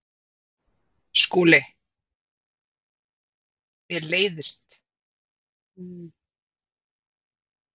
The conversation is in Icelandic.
SKÚLI: Mér leiðast samkvæmi.